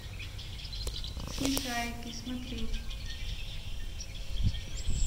смешарики смотреть